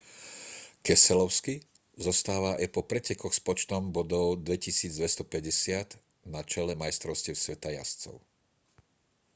keselowski zostáva aj po pretekoch s počtom bodov 2 250 na čele majstrovstiev sveta jazdcov